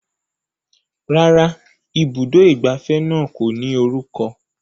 Rárá, ibùdó ìgbafẹ́ náà kò ní orúkọ